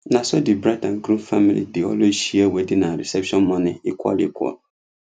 naso the bride and groom family dey always share wedding and reception money equal equal